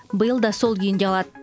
биыл да сол күйінде қалады